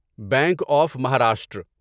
bank of Maharashtra